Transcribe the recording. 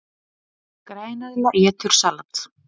Græneðla étur salat!